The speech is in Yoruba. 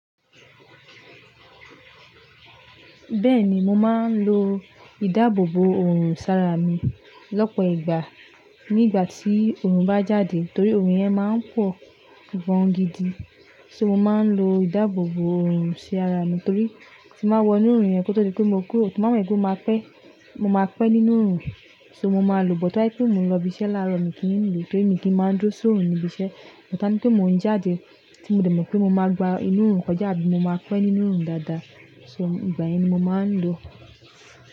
Bẹ́ẹ̀ ni, mo máa ń lo ìdáàbòbò òòrùn sí ara mi lọ́pọ̀ ìgbà. Ní ìgbà tí òòrùn bá jáde, torí òòrùn yẹn máa ń pọ̀, gan gidi. So mo máa ń lo ìdáàbòbò òòrùn sí ara mi torí tí mo wọ inú òòrùn yẹn, kó tó di pé mo kúrò, tí mo bá mo wipe mo máa pẹ́. Mo máa pẹ́ nínú òòrùn, so mo máa lòbò. Táyé pé mo ń lọ ibiṣẹ́ láàárọ̀ mi kí n lo, tori mi kì í máa dúró sóòrùn níbi iṣẹ́. Mo ta ní pé mò ń jáde, tí mo dẹ̀mọ̀ pé mo máa gbá inú òòrùn kọjá bí mo máa pẹ́ nínú òòrùn dáadáa. So ìgbà yẹn ni mo máa ń lò o.